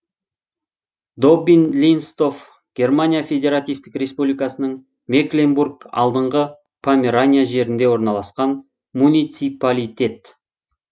доббин линстов германия федеративтік республикасының мекленбург алдыңғы померания жерінде орналасқан муниципалитет